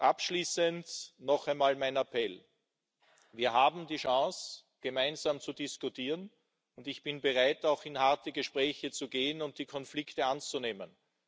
Abschließend noch einmal mein Appell Wir haben die Chance, gemeinsam zu diskutieren, und ich bin bereit, auch in harte Gespräche zu gehen und die Konflikte anzunehmen.